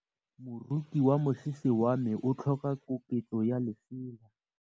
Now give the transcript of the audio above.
Moroki wa mosese wa me o tlhoka koketsô ya lesela.